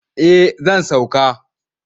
Eh zan sauka.